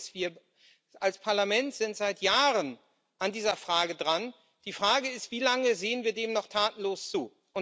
Wir als Parlament sind seit Jahren an dieser Frage dran. Die Frage lautet Wie lange sehen wir dem noch tatenlos zu?